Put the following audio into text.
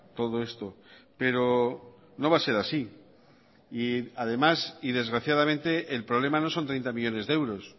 todo esto pero no va a ser así y además y desgraciadamente el problema no son treinta millónes de euros